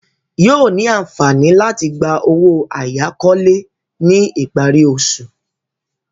Yóò ní àǹfààní láti gba owó àyákọ́lé ní ìparí oṣù.